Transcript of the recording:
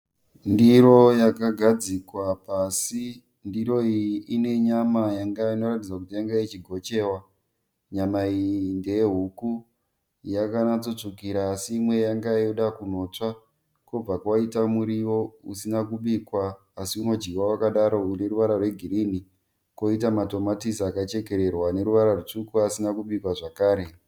Ndiro yakagadzikwa pasi. Ndiro iyi ine nyama inoratidza kuti yange ichigochiwa. Nyama iyi ndeyehuku yakanatsotsvukira asi imwe yange yoda kunotsva. Kwobva kwaita muriwo usina kubikwa asi unodyiwa wakadaro une ruvara rwegirini. Kwoita matomatisi akachekererwa asina kubikwa zvakare.